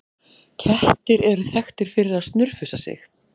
Kettir eru þekktir fyrir að snurfusa sig.